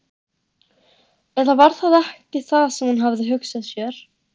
Eða var það ekki það sem hún hafði hugsað sér?